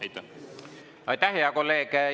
Aitäh, hea kolleeg!